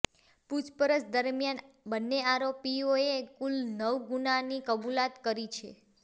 પૂછપરછ દરમિયાન બંને આરોપીઓએ કુલ નવ ગુનાની કબૂલાત કરી છે